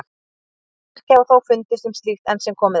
Engin merki hafa þó fundist um slíkt enn sem komið er.